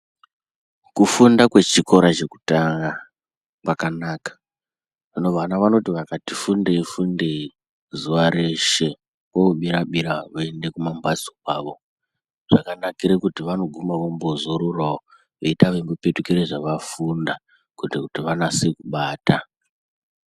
Kufunda kwechikora chekutanga kwakanaka kana vana vanoti vakati funde fundei zuwa reshe kwobira voende kumambatso kwavo zvakanakira kuti vanoguma vombozororawo veita veingopetukire zvavafunda kuita kuti vanase kubata.